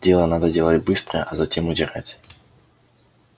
дело надо делать быстро а затем удирать